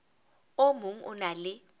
o mong o na le